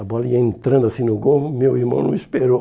A bola ia entrando assim no gol, meu irmão não esperou.